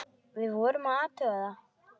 Við vorum að athuga það.